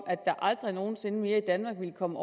at der aldrig nogen sinde mere i danmark vil komme